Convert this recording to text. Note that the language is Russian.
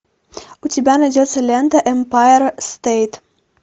у тебя найдется лента эмпайр стейт